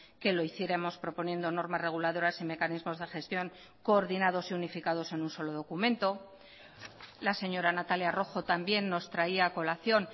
que lo hiciéramos proponiendo normas reguladoras y mecanismos de gestión coordinados y unificados en un solo documento la señora natalia rojo también nos traía a colación